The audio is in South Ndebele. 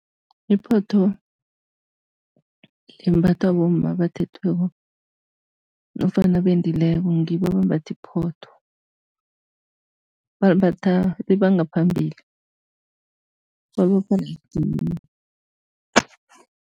Iphotho limbathwa abomma abathethweko nofana abendileko ngibo abambatha iphotho. Balimbatha liba ngaphambili, balibopha la edinini.